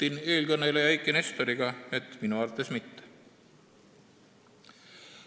Ühinen eelkõneleja Eiki Nestori arvamusega, et minu arvates mitte.